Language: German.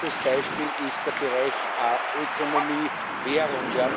Zweites Beispiel ist der Bereich Ökonomie, Währung.